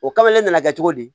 O kabale nana kɛ cogo di